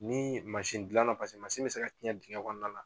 Ni mansindilanna mansin bɛ se ka tiɲɛ dingɛ kɔnɔna na